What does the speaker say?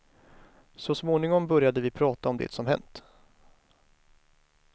Så småningom började vi prata om det som hänt.